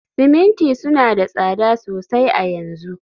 siminti suna da tsada sosai a yanzu